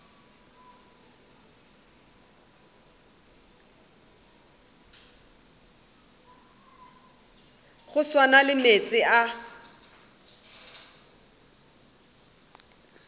go swana le meetse a